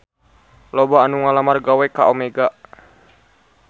Loba anu ngalamar gawe ka Omega